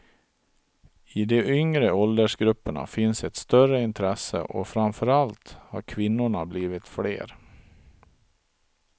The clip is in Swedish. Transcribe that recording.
I de yngre åldersgrupperna finns ett större intresse och framförallt har kvinnorna blivit fler.